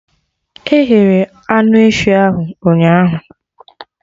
E ghere anụ efi ahụ ụnyaahụ